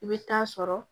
I bɛ taa sɔrɔ